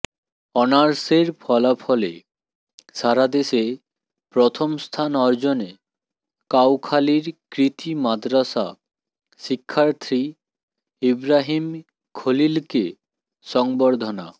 অনার্সের ফলাফলে সারাদেশে প্রথম স্থান অর্জনে কাউখালীর কৃতি মাদ্রাসা শিক্ষার্থী ইবরাহীম খলিলকে সংবর্ধনা